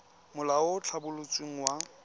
molao o o tlhabolotsweng wa